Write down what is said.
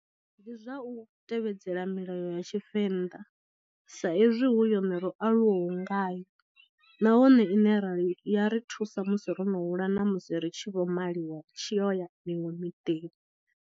Ndi zwa u tevhedzela milayo ya tshivenḓa sa ezwi hu yone ro aluwaho ngayo, nahone ine rali ya ri thusa musi ro no hula na musi ri tshi vho maliwa ri tshi yo ya miṅwe miḓini.